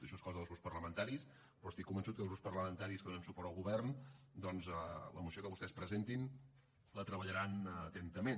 això és cosa dels grups parlamentaris però estic convençut que els grups parlamentaris que donen suport al govern doncs la moció que vostès presentin la treballaran atentament